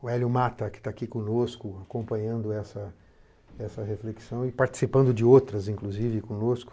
O Hélio Mata, que está aqui conosco acompanhando essa reflexão e participando de outras, inclusive, conosco.